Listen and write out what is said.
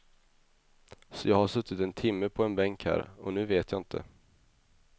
Så jag har suttit en timme på en bänk här, och nu vet jag inte.